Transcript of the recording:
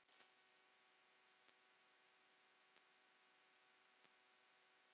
Hvað eruð þið að rugla?